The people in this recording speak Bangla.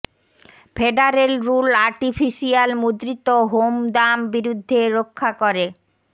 ফেডারেল রুল আর্টিফিশিয়াল মুদ্রিত হোম দাম বিরুদ্ধে রক্ষা করে